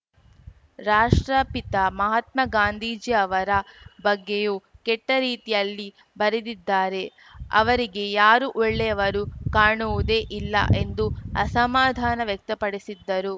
ರಾಷ್ಟ್ರಪಿತ ಮಹಾತ್ಮ ಗಾಂಧೀಜಿಯವರ ಬಗ್ಗೆಯೂ ಕೆಟ್ಟರೀತಿಯಲ್ಲಿ ಬರೆದಿದ್ದಾರೆ ಅವರಿಗೆ ಯಾರೂ ಒಳ್ಳೆಯವರು ಕಾಣುವುದೇ ಇಲ್ಲ ಎಂದು ಅಸಮಾಧಾನ ವ್ಯಕ್ತಪಡಿಸಿದ್ದರು